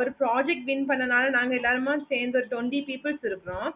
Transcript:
ஒரு project gain பண்ணதால நாங்க எல்லாருமா சேந்து ஒரு Twenty peoples இருக்கோம்